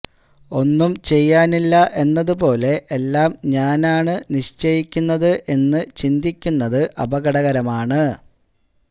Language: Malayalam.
ഒന്നും ചെയ്യാനില്ല എന്നതുപോലെ എല്ലാം ഞാനാണ് നിശ്ചയിക്കുന്നത് എന്ന് ചിന്തിക്കുന്നത് അപകടകരമാണ്